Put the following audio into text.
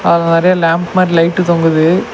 அதுல நெறைய லேம்ப் மாரி லைட்டு தொங்குது.